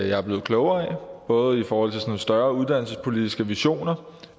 jeg er blevet klogere af både i forhold til sådan større uddannelsespolitiske visioner